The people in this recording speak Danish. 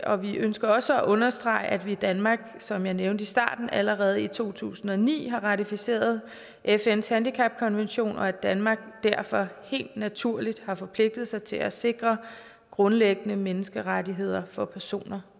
og vi ønsker også at understrege at vi i danmark som jeg nævnte i starten allerede i to tusind og ni har ratificeret fns handicapkonvention og at danmark derfor helt naturligt har forpligtet sig til at sikre grundlæggende menneskerettigheder for personer